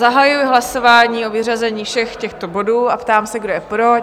Zahajuji hlasování o vyřazení všech těchto bodů a ptám se, kdo je pro?